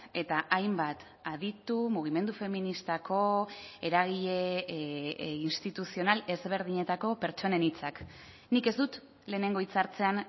eta hainbat aditu mugimendu feministako eragile instituzional ezberdinetako pertsonen hitzak nik ez dut lehenengo hitzartzean